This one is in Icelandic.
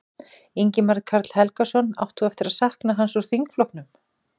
Ingimar Karl Helgason: Átt þú eftir að sakna hans úr þingflokknum?